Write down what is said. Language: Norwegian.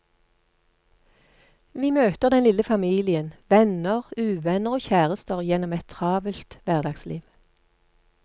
Vi møter den lille familien, venner, uvenner og kjærester gjennom et travelt hverdagsliv.